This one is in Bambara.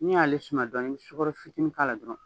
N y'ale suma dɔɔnin n be sukɔrɔ fitini k'a la dɔrɔn.